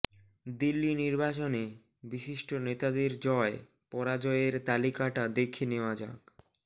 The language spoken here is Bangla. দিল্লি নির্বাচনে বিশিষ্ট নেতাদের জয় পরাজয়ের তালিকাটা দেখে নেওয়া যাক